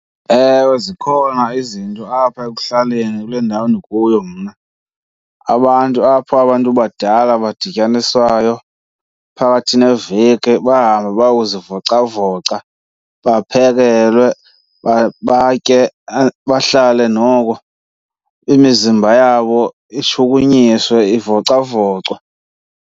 Ewe, zikhona izinto apha ekuhlaleni kule ndawo ndikuyo mna abantu apha abantu badala badityaniswayo phakathi neveki bahambe bayokuzivocavoca, baphekelwe batye. Bahlale noko imizimba yabo ishukunyiswe ivocavocwe.